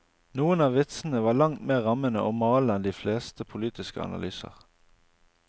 Noen av vitsene var langt mer rammende og malende enn de fleste politiske analyser.